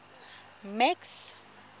max